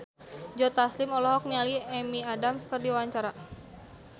Joe Taslim olohok ningali Amy Adams keur diwawancara